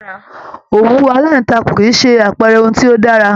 Òwú alantakun kìí ṣe àpẹẹrẹ ohùn tí o dára.